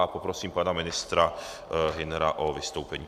A poprosím pana ministra Hünera o vystoupení.